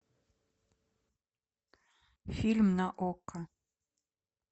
фильм на окко